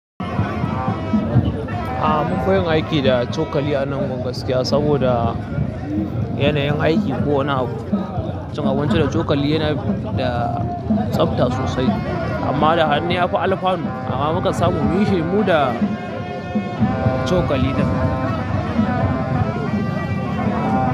A'a munfi yin aiki da cokali anan gaskiya saboda yanayin aiki ko wani abu cin abinci da cokali yana da tsabta sosai amma da hannu yafi alfanu amma muka samu bishiyu mu da cokali ɗin.